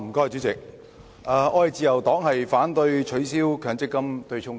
主席，自由黨反對取消強制性公積金對沖機制。